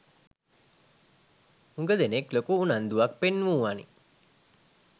හුග දෙනෙක් ලොකු උනන්දුවක් පෙන්නුවනේ.